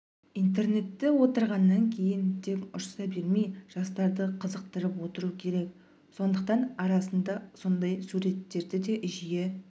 интернетте отырғаннан кейін тек ұрса бермей жастарды қызықтырып отыру керек сондықтан арасында сондай суреттерді де жиі